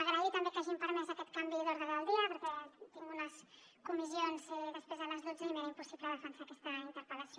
agrair també que hagin permès aquest canvi de l’ordre del dia perquè tinc unes comissions després a les dotze i m’era impossible defensar aquesta interpel·lació